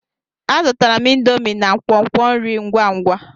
Azụtara m indomie na nkwonkwo nri ngwa ngwa.